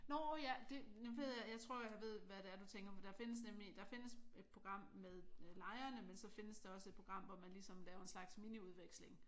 Nå ja! Nu ved jeg jeg tror jeg ved hvad det er du tænker på. Der findes nemlig der findes et program med lejrene men så findes der også et program hvor man ligesom laver en slags miniudveksling